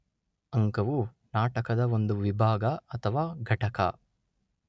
ಅಂಕವು ನಾಟಕದ ಒಂದು ವಿಭಾಗ ಅಥವಾ ಘಟಕ.